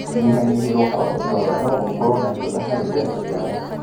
Kũnyihanyihĩrio kwa ũtonga no gũkorwo na ĩgũtha harĩ mbeca cia mũciĩ